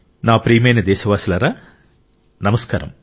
నా ప్రియమైన దేశవాసులారా నమస్కారం